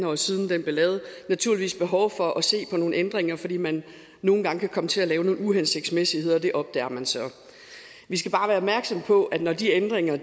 år siden naturligvis er behov for at se på nogle ændringer fordi man nogle gange kan komme til at lave nogle uhensigtsmæssigheder og det opdager man så vi skal bare være opmærksomme på at når de ændringer er